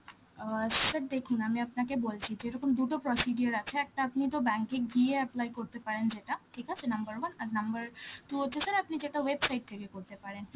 অ্যাঁ sir দেখুন আমি আপনাকে বলছি যে, এরকম দুটো procedure আছে, একটা আপনি তো bank এ গিয়ে apply করতে পারেন যেটা, ঠিক আছে, number one, আর number two হচ্ছে sir আপনি যেটা website থেকে করতে পারেন.